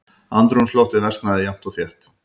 Andrúmsloftið versnaði jafnt og þétt.